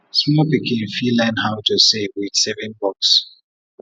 small pikin fit dey learn how to save with saving box